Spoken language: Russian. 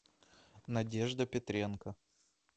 надежда петренко